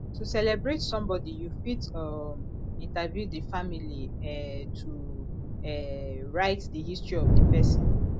to celebrate some body you fit um interview the family um to um write di history of di person